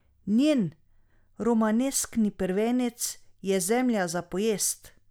Njen romaneskni prvenec Je zemlja za pojest?